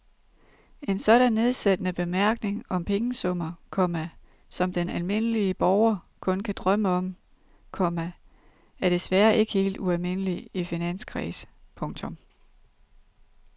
En sådan nedsættende bemærkning om pengesummer, komma som den almindelige borger kun kan drømme om, komma er desværre ikke helt ualmindelig i finanskredse. punktum